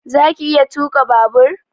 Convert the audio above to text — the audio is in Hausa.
Zaka iya tuka babur?